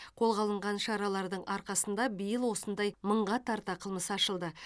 қолға алынған шаралардың арқасында биыл осындай мыңға тарта қылмыс ашылды